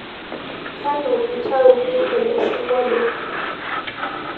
kanu itauki ele singolio